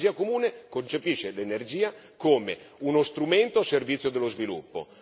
La strategia comune concepisce l'energia come uno strumento al servizio dello sviluppo.